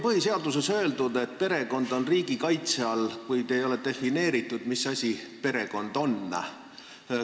Põhiseaduses on öeldud, et perekond on riigi kaitse all, kuid ei ole defineeritud, mis asi perekond on.